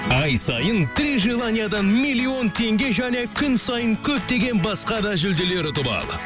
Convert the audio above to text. ай сайын три желаниядан миллион теңге және күн сайын көптеген басқа да жүлделер ұтып ал